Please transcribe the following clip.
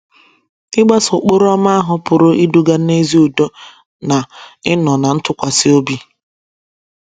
Ịgbaso Ụkpụrụ Ọma ahụ pụrụ iduga n’ezi udo na ịnọ ná ntụkwasị obi